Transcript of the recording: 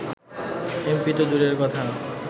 MP তো দূরের কথা